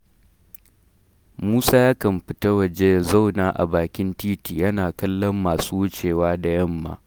Musa yakan fita waje ya zauna a bakin titi yana kallon masu wucewa da yamma